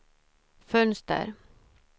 fönster